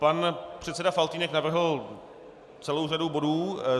Pan předseda Faltýnek navrhl celou řadu bodů.